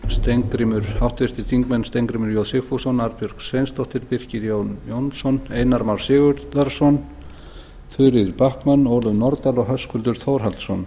eru háttvirtir þingmenn steingrímur j sigfússon arnbjörg sveinsdóttir birkir jón jónsson einar már sigurðarson þuríður backman ólöf nordal og höskuldur þórhallsson